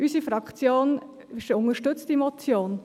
Unsere Fraktion unterstützt diese Motion.